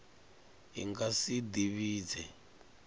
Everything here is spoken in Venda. i nga si ḓi vhidze